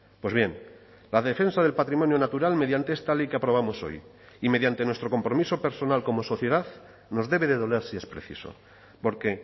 pues bien la defensa del patrimonio natural mediante esta ley que aprobamos hoy y mediante nuestro compromiso personal como sociedad nos debe de doler si es preciso porque